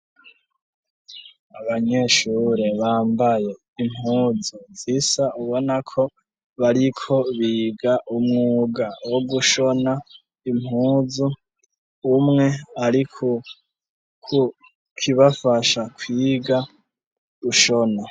Abanyeshure bambaye impuzu zisa ubona ko bari ko biga umwuga wo gushona impuzu, umwe ari ku kibafasha kwiga gushona.